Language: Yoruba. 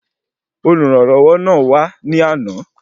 Olùrànlọwọ náà wà ní àna